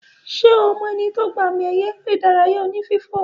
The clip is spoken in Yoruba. Ṣe ọ mo eni to gba àmì ẹ̀yẹ eré ìdárayá oní fífò